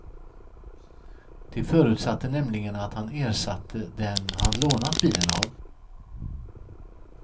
De förutsatte nämligen att han ersatte den han lånat bilen av.